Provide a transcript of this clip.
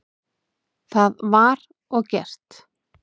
Það var og gert.